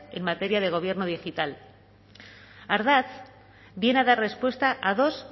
en materia de gobierno digital ardatz viene a dar respuesta a dos